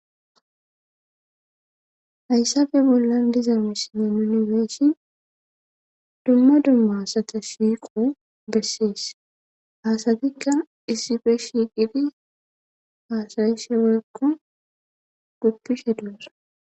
Hayssafe bollan diza misinye yunibeeshi dumma dumma asata shiiqo bessees haasatikka issife shiiqidi haasayishe wekko guppishe duusa